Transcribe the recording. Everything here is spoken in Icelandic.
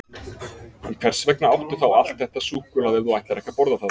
En hvers vegna áttu þá allt þetta súkkulaði ef þú ætlar ekki að borða það?